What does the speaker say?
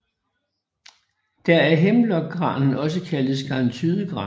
Der er Hemlock granen også kaldet Skarntydegranen